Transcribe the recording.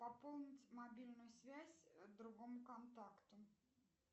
пополнить мобильную связь другому контакту